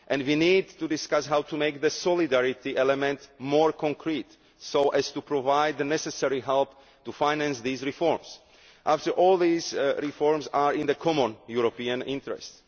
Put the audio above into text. We also need to discuss how to make the solidarity element more concrete, so as to provide the necessary help to finance these reforms after all these reforms are in the common European interest.